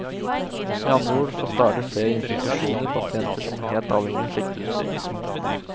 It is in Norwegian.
Med andre ord får stadig flere institusjoner pasienter som er helt avhengig av slikt utstyr.